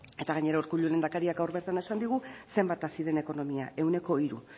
eta gainera urkullu lehendakariak gaur bertan esan digu zenbat hazi den ekonomia ehuneko hiru